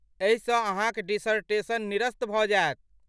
एहिसँ अहाँक डिसर्टेशन निरस्त भऽ जायत।